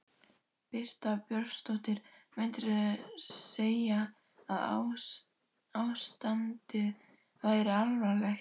Birta Björnsdóttir: Myndirðu segja að ástandið væri alvarlegt?